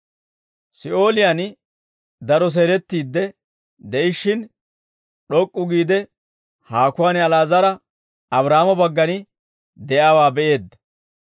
Si'ooliyaan daro seelettiidde de'ishshin, d'ok'k'u giide haakuwaan Ali'aazara, Abraahaamo baggan de'iyaawaa be'eedda.